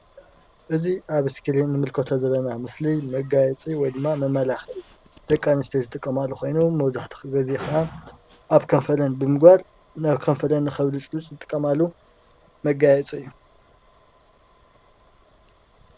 እዚ አብ እስኪሪን ንምልከቶ ዘለና ምስሊ መጋየፂ ወይ ደማ መመላኪዒ ደቂ አንስትዮ ዝጥቀማሉ ኮይኖም መብዛሕትኡ ጊዜ አብ ከንፈረን ብምግባር ናብ ከንፈረን ክልስልስ ዝጥቀማሉ መጋየፂ እዩ